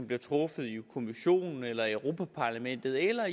bliver truffet i kommissionen eller i europa parlamentet eller